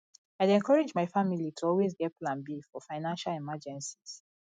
i dey encourage my family to always get plan b for financial emergencies